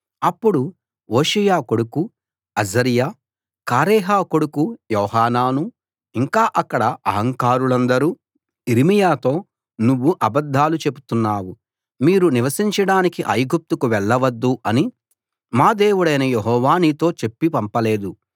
అప్పుడు హోషేయా కొడుకు అజర్యా కారేహ కొడుకు యోహానానూ ఇంకా అక్కడ ఆహంకారులందరూ యిర్మీయాతో నువ్వు అబద్ధాలు చెప్తున్నావు మీరు నివసించడానికి ఐగుప్తుకు వెళ్ళవద్దు అని మా దేవుడు యెహోవా నీతో చెప్పి పంపలేదు